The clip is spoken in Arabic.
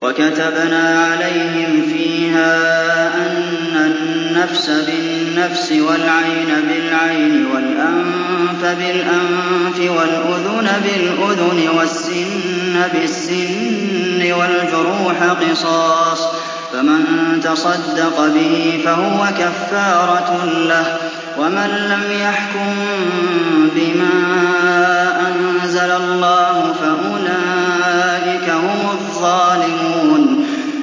وَكَتَبْنَا عَلَيْهِمْ فِيهَا أَنَّ النَّفْسَ بِالنَّفْسِ وَالْعَيْنَ بِالْعَيْنِ وَالْأَنفَ بِالْأَنفِ وَالْأُذُنَ بِالْأُذُنِ وَالسِّنَّ بِالسِّنِّ وَالْجُرُوحَ قِصَاصٌ ۚ فَمَن تَصَدَّقَ بِهِ فَهُوَ كَفَّارَةٌ لَّهُ ۚ وَمَن لَّمْ يَحْكُم بِمَا أَنزَلَ اللَّهُ فَأُولَٰئِكَ هُمُ الظَّالِمُونَ